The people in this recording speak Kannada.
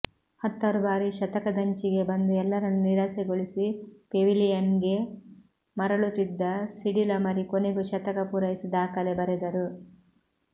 ಹತ್ತಾರು ಬಾರಿ ಶತಕದಂಚಿಗೆ ಬಂದು ಎಲ್ಲರನ್ನೂ ನಿರಾಸೆಗೊಳಿಸಿ ಪೆವಿಲಿಯನ್ಗೆ ಮರಳುತ್ತಿದ್ದ ಸಿಡಿಲ ಮರಿ ಕೊನೆಗೂ ಶತಕ ಪೂರೈಸಿ ದಾಖಲೆ ಬರೆದರು